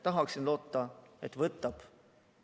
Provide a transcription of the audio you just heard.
Tahaksin loota, et võtab.